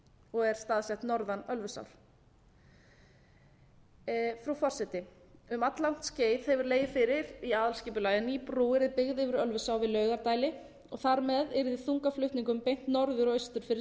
og er staðsett norðan ölfusár frú forseti um alllangt skeið hefur legið fyrir í aðalskipulagi að ný brú yrði byggð yfir ölfusá við laugardæli og þar með yrði þungaflutningum beint norður og austur fyrir selfoss þessi